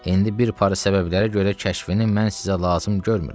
İndi bir para səbəblərə görə kəşfini mən sizə lazım görmürəm.